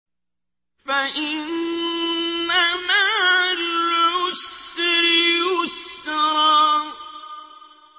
فَإِنَّ مَعَ الْعُسْرِ يُسْرًا